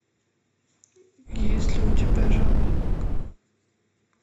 есть ли у тебя жаворонок